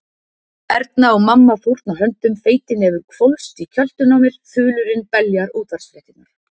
Erna og mamma fórna höndum, feitin hefur hvolfst í kjöltuna á mér, þulurinn beljar útvarpsfréttirnar.